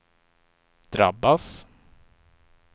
drabbas